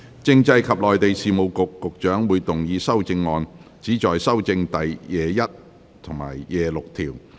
政制及內地事務局局長會動議修正案，旨在修正第21及26條。